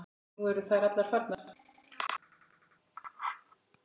Nú eru þær allar farnar.